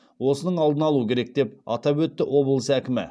осының алдын алу керек деп атап өтті облыс әкімі